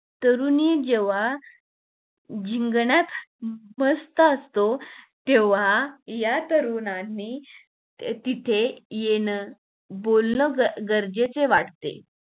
तरुणी जेव्हा जिगण्यात व्यस्त असतो तेव्हा या तरुणांनी तिथं येन बोलणं गरजेचे वाटते